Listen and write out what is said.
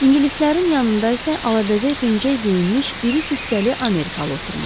İngilislərin yanında isə alabəzək pencək geyinmiş iri cüssəli Amerikalı oturmuşdu.